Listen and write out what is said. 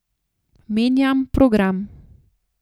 Menjam program.